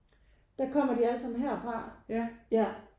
Der kommer de allesammen herfra ja